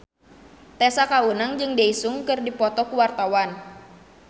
Tessa Kaunang jeung Daesung keur dipoto ku wartawan